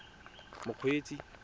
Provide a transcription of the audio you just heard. mokgweetsi